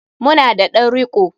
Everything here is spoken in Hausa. Mu na da ɗan riko.